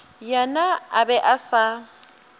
yena a be a sa